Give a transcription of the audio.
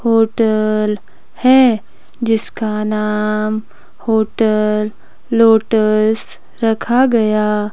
hotel है जिसका नाम होटल लोटस रखा गया--